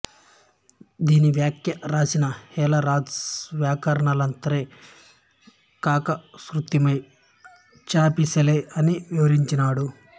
దీనిపై వ్యాఖ్యవ్రాసిన హేలరాజు వ్యాకరణాంతరే కాశకృత్స్నే చాపిశలె అని వివరించినాడు